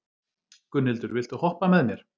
Gunnhildur, viltu hoppa með mér?